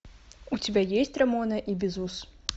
у тебя есть рамона и бизус